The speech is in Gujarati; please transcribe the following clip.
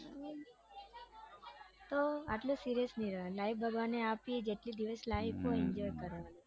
તો આટલું serious નઈ રેવાનું life ભગવાને આપી જેટલા દિવસ life હોય એટલા દિવસ enjoy કરવાં